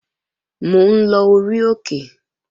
Mò ń lọ orí òkè